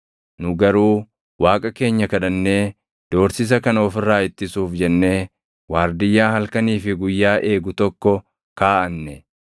Nu garuu Waaqa keenya kadhannee doorsisa kana of irraa ittisuuf jennee waardiyyaa halkanii fi guyyaa eegu tokko kaaʼanne.